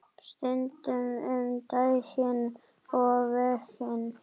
Stundum um daginn og veginn.